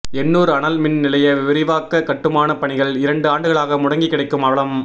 எண்ணூர் அனல் மின் நிலைய விரிவாக்க கட்டுமான பணிகள் இரண்டு ஆண்டுகளாக முடங்கி கிடக்கும் அவலம்